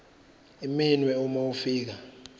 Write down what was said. iminwe uma ufika